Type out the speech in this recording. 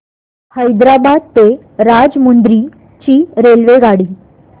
हैदराबाद ते राजमुंद्री ची रेल्वेगाडी